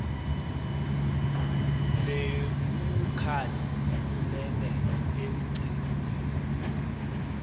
nebukhali kunene emicimbini